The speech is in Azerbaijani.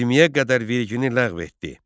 20-yə qədər vergini ləğv etdi.